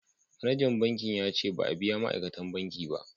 Manajan banki ya ce ba a biya ma'aikatan banki ba